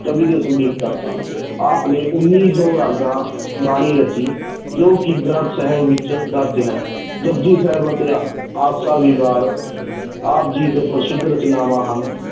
ਕਵੀ ਤੇ ਸੰਗੀਤਕਾਰ ਸਨ ਆਪ ਨੇ ਉੱਨੀ ਸੌ ਰਾਗਾਂ ਬਾਣੀ ਰਚੀ ਜੋ ਕਿ ਗ੍ਰੰਥ ਸਾਹਿਬ ਵਿੱਚ ਦਰਜ਼ ਹੈ ਜਪੁਜੀ ਸਾਹਿਬ ਅਤੇ ਆਸਾ ਦੀ ਵਾਰ, ਆਪ ਜੀ ਦੇ ਪ੍ਰਸਿੱਧ ਰਚਨਾਵਾਂ ਹਨ।